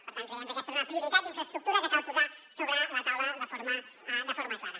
per tant creiem que aquesta és una prioritat d’infraestructura que cal posar sobre la taula de forma clara